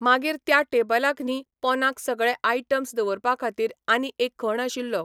मागीर त्या टेबलाक न्ही पोंदाक सगळे आयटम्स दवरपा खातीर आनी एक खण आशिल्लो.